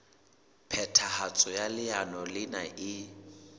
phethahatso ya leano lena e